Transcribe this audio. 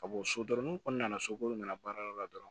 Ka bɔ so dɔrɔ n'u kɔni nana sokoro nana baarayɔrɔ la dɔrɔn